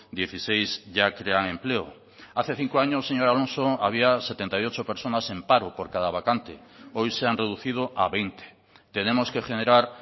dieciséis ya crean empleo hace cinco años señor alonso había setenta y ocho personas en paro por cada vacante hoy se han reducido a veinte tenemos que generar